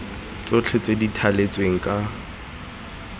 tsotlhe tse di thaletsweng ka